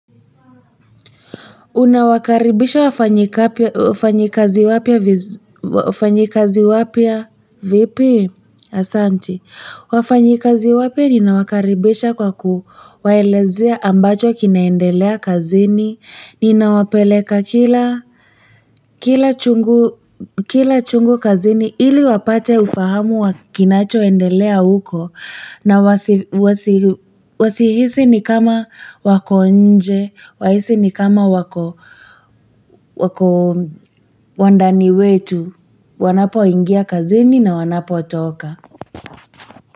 Unawakaribisha wafanyikazi wapya vipi? Asanti. Wafanyikazi wapya ninawakaribisha kwa kuwaelezea ambacho kinaendelea kazini. Ninawapeleka kila chungu kazini ili wapate ufahamu wa kinachoendelea huko. Na wasihisi ni kama wako nje, wahisi ni kama wako wa ndani wetu, wanapoingia kazini na wanapotoka.